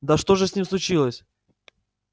да что же с ним случилось